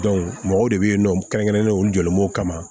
mɔgɔw de bɛ yen nɔ kɛrɛnkɛrɛnnen olu jɔlen b'o kama